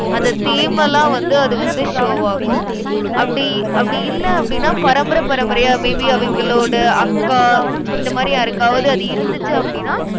அத தேமலா வந்து, அது வந்து show வாகும். அப்படி, அப்படி இல்லை அப்படின்னா, பரம்பரை பரம்பரையா, may be அவிங்களோட அக்கா இந்த மாதிரி யாருக்காவது, அது இருந்துச்சு அப்படின்னா